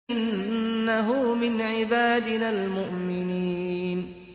إِنَّهُ مِنْ عِبَادِنَا الْمُؤْمِنِينَ